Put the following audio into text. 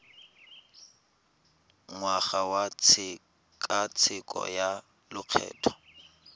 ngwaga wa tshekatsheko ya lokgetho